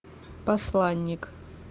посланник